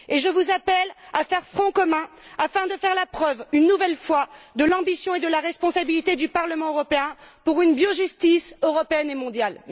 Je vous appelle à faire front commun afin de faire la preuve, une nouvelle fois, de l'ambition et de la responsabilité du Parlement européen pour une biojustice européenne et mondiale.